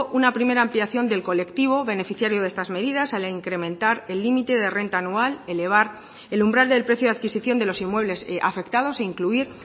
una primera ampliación del colectivo beneficiario de estas medidas al incrementar el límite de renta anual elevar el umbral del precio de adquisición de los inmuebles afectados e incluir